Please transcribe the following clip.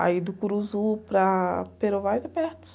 Aí do para é perto.